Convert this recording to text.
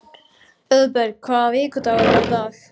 Auðberg, hvaða vikudagur er í dag?